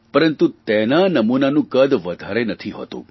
પરંતુ તેના નમૂનાનું કદ વધારે નથી હોતું